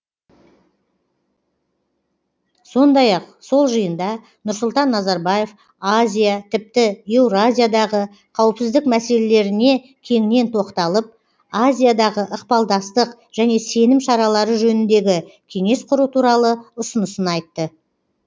сондай ақ сол жиында нұрсұлтан назарбаев азия тіпті еуразиядағы қауіпсіздік мәселелеріне кеңінен тоқталып азиядағы ықпалдастық және сенім шаралары жөніндегі кеңес құру туралы ұсынысын айтты